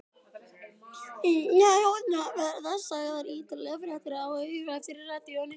Og það verða sagðar ítarlegar fréttir á eftir í radíóinu.